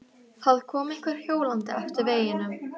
Það kom einhver hjólandi eftir veginum.